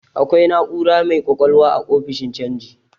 Akwai na'ura mai ƙwaƙwalwa a ofishin canji.